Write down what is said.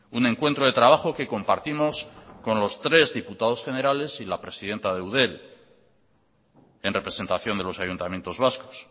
un encuentro de trabajo que compartimos con los tres diputados generales y la presidenta de eudel en representación de los ayuntamientos vascos